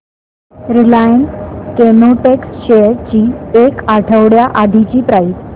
Reliance Chemotex shares ची एक आठवड्या आधीची प्राइस